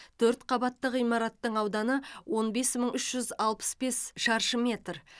төрт қабатты ғимараттың ауданы он бес мың үш жүз алпыс бес шаршы метр